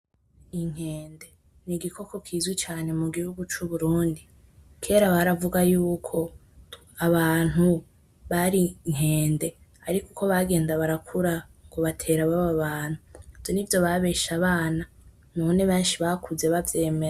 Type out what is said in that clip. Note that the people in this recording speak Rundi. Inkende n'igikoko kizwi cane mugihugu c'uburundi, kera baravuga yuko abantu bari inkende ariko uko bagenda barakura ngo batera baba abantu. Ivyo nivyo babesha abana, none benshi bakuze bavyemera.